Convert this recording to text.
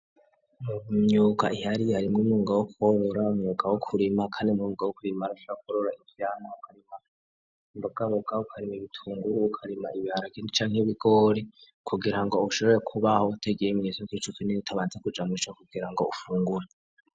Myuga ihari harimo umwunga wo kworora mwuga wo kurima kandi umwuga wo kurima arusha kurora ivyamwa .Ukarima imbogaboga ukarima ibitunguru ukarima ibiharage canke ibigori kugira ngo ushobore kubaho utagiye mwisoko utabanze kuja mumwisoko kugira ngo ufungure.